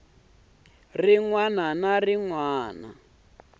rin wana na rin wana